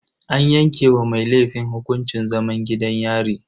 An yanke wa mai laifin hukuncin zaman gidan yari.